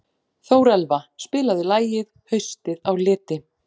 Þórelfa, spilaðu lagið „Haustið á liti“.